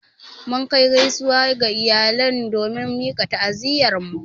Mun Kai gaisuwa ga iyalan domin mika ta'aziyyar mu.